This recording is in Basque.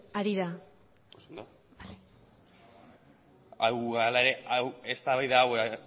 harira oso ondo eztabaida hau